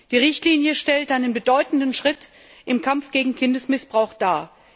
Die Richtlinie stellt einen bedeutenden Schritt im Kampf gegen Kindesmissbrauch dar.